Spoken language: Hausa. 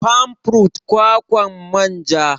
Palm fruit=kwakwan manja